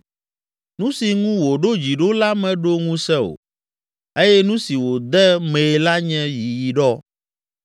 Nu si ŋu wòɖo dzi ɖo la meɖo ŋusẽ o eye nu si wòde mee la nye yiyiɖɔ.